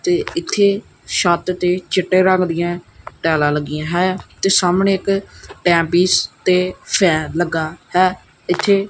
ਤੇ ਇੱਥੇ ਛੱਤ ਤੇ ਚਿੱਟੇ ਰੰਗ ਦਿਆਂ ਟਾਈਲਾਂ ਲਗੀਆਂ ਹੈਂ ਤੇ ਸਾਹਮਣੇ ਇੱਕ ਟਾਈਮ ਪੀਸ ਤੇ ਫੈਨ ਲੱਗਾ ਹੈ ਇੱਥੇ।